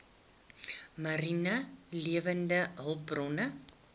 mariene lewende hulpbronne